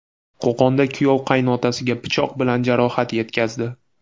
Qo‘qonda kuyov qaynotasiga pichoq bilan jarohat yetkazdi.